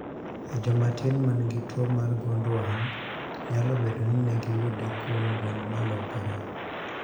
E joma tin manigi tuo mar gund wang' nyalo bedo ni negiyude kuom gund malokore